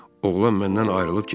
Oğlan məndən ayrılıb getdi.